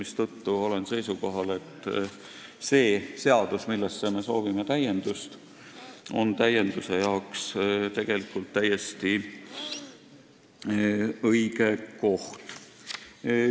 Seetõttu olen seisukohal, et kõnealune seadus on täienduse jaoks täiesti õige koht.